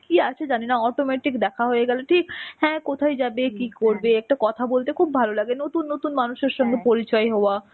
কি আছে জানি না automatic দেখা হয়ে গেলো ঠিক, হ্যাঁ কোথায় যাবে কি করবে একটা কথা বলতে খুব ভালো লাগে. নতুন নতুন মানুষের সঙ্গে পরিচয় হওয়া,